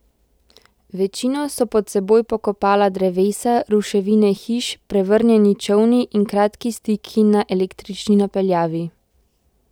Večino so pod seboj pokopala drevesa, ruševine hiš, prevrnjeni čolni in kratki stiki na električni napeljavi.